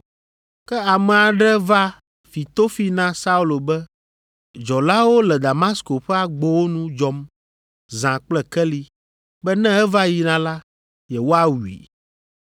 Ke ame aɖe va fi tofi na Saulo be dzɔlawo le Damasko ƒe agbowo nu dzɔm zã kple keli be ne eva yina la, yewoawui.